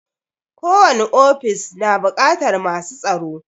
Ko wani ofis na buƙatar masu tsaro